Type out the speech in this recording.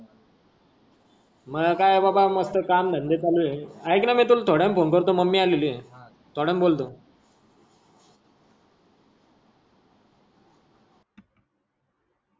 मय काय बाबा मस्त काम धंदे चालू आहे. एकन मी तुला थोड्या वेद्याणि फोन करतो ममी आलेली आहे. हा. थोड्या वेडाणी बोलतो.